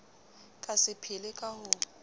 ka se phele ka ho